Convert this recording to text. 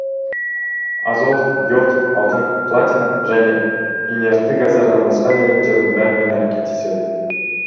азот йод алтын платина және инертті газдардан басқа элементтердің бәрімен әрекеттеседі